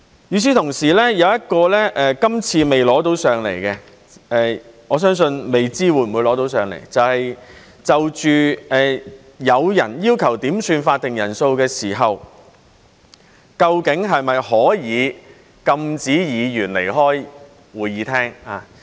與此同時，有一項今次未能提交上來，我相信未知道會不會提交上來，就是當有人要求點算法定人數時，究竟是否可以禁止議員離開會議廳。